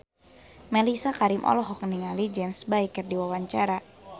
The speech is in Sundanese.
Mellisa Karim olohok ningali James Bay keur diwawancara